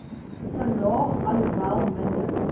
verlaag alhoewel minder